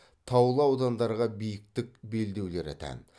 таулы аудандарға биіктік белдеулері тән